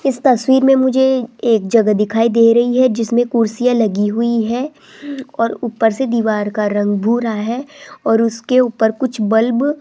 इस तस्वीर में मुझे एक जगह दिखाई दे रही है जिसमें कुर्सियां लगी हुई है और ऊपर से दीवार का रंग भूरा है और उसके ऊपर कुछ बल्ब --